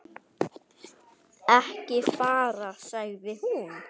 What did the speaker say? Ekki fara, sagði hún.